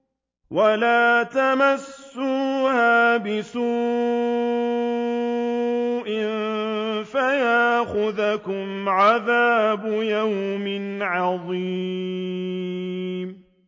وَلَا تَمَسُّوهَا بِسُوءٍ فَيَأْخُذَكُمْ عَذَابُ يَوْمٍ عَظِيمٍ